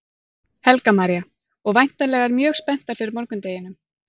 Helga María: Og væntanlegar mjög spenntar fyrir morgundeginum?